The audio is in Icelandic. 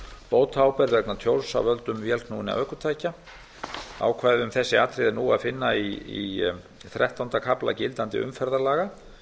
bótaábyrgð vegna tjóns af völdum vélknúinna ökutækja ákvæði um þessi atriði er nú að finna í þrettánda kafla gildandi umferðarlaga